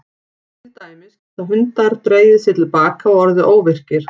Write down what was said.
Til dæmis geta hundar dregið sig til baka og orðið óvirkir.